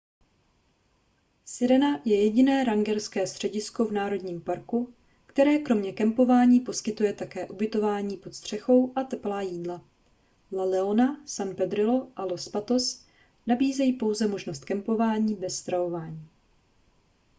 sirena je jediné rangerské středisko v národním parku které kromě kempování poskytuje také ubytování pod střechou a teplá jídla la leona san pedrillo a los patos nabízejí pouze možnost kempování bez stravování